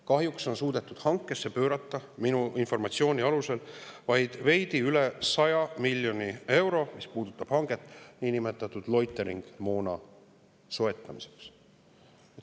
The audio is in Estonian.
Kahjuks on suudetud hankesse pöörata minu informatsiooni alusel vaid veidi üle 100 miljoni euro, mis puudutab hanget niinimetatud loitering-moona soetamiseks.